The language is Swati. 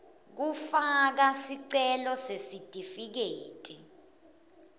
kufaka sicelo sesitifiketi